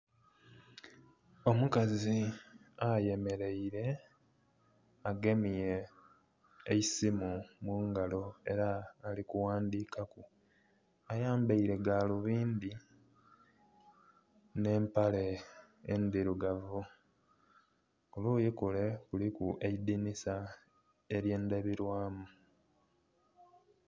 Omukazi ayemeleire agemye eisimu mu ngalo era ali kuwandikaku. Ayambaile galubindi nh'empale endhirugavu. Ku luuyi kule kuliku eidinisa ely'endabirwamu.